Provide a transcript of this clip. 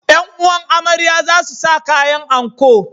’Yan’uwan amarya za su sa kayan anko.